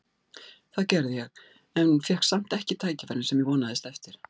Það gerði ég en fékk samt ekki tækifærin sem ég vonaðist eftir.